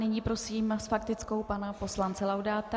Nyní prosím s faktickou pana poslance Laudáta.